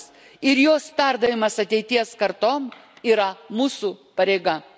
Istorinės atminties išsaugojimas ir jos perdavimas ateities kartoms yra mūsų pareiga.